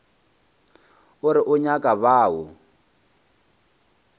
o re o nyaka bao